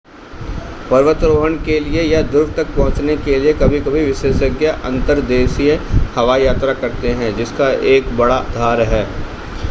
पर्वतारोहण के लिए या ध्रुव तक पहुंचने के लिए कभी-कभी विशेषज्ञ अंतर्देशीय हवाई यात्रा करते हैं जिसका एक बड़ा आधार है